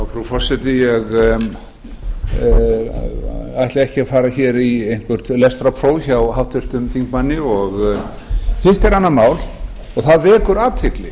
frú forseti ég ætla ekki að fara hér í eitthvert lestrarpróf hjá háttvirtum þingmanni hitt er annað mál og það vekur athygli